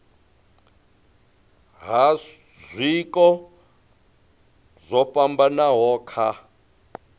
ha zwiko zwo fhambanaho kha